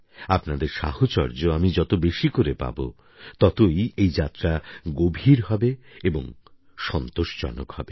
আপনাদের সাহচর্য আমি যত বেশি করে পাব ততই এই যাত্রা গভীর হবে এবং সন্তোষজনক হবে